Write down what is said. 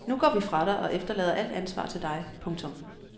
Nu går vi fra dig og efterlader alt ansvar til dig. punktum